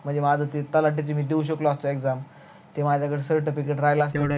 म्हणजे माझ तलाठ्याच मी देवू शकलो असतो exam ते माझ्याक्ड certificate राहील असत